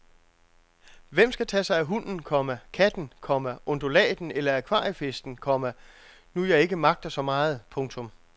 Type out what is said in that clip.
Hvem skal tage sig af hunden, komma katten, komma undulaten eller akvariefisken, komma nu jeg ikke magter så meget. punktum